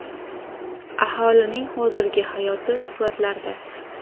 Aholining hozirgi hayoti suratlarda.